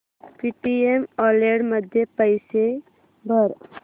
Paytm wallet मध्ये पैसे भर